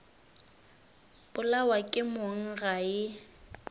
polawa ke mong ga e